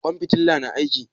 Ƙwan fitilan na aiki?